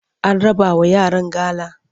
An rabawa yaran gala?